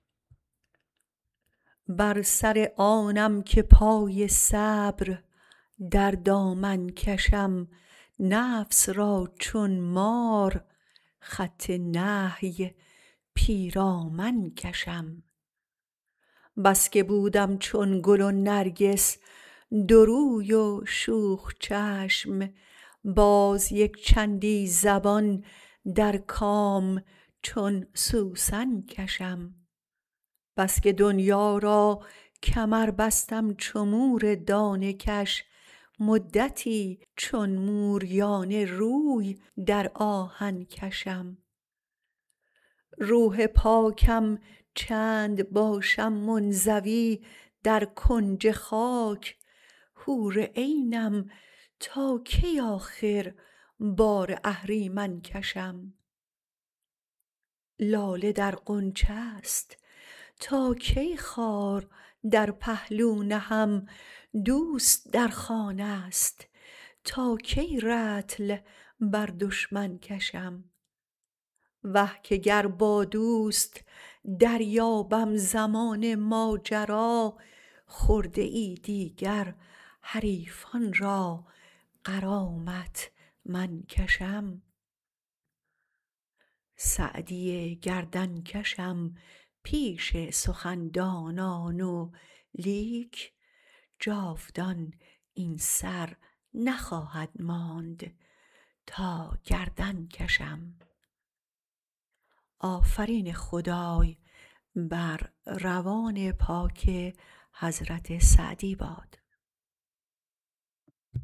بر سر آنم که پای صبر در دامن کشم نفس را چون مار خط نهی پیرامن کشم بس که بودم چون گل و نرگس دو روی و شوخ چشم باز یکچندی زبان در کام چون سوسن کشم بس که دنیا را کمر بستم چو مور دانه کش مدتی چون موریانه روی در آهن کشم روح پاکم چند باشم منزوی در کنج خاک حور عینم تا کی آخر بار اهریمن کشم لاله در غنچه ست تا کی خار در پهلو نهم دوست در خانه ست تا کی رطل بر دشمن کشم وه که گر با دوست دریابم زمان ماجرا خرده ای دیگر حریفان را غرامت من کشم سعدی گردن کشم پیش سخن دانان ولیک جاودان این سر نخواهد ماند تا گردن کشم